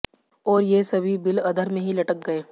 और ये सभी बिल अधर में ही लटक गए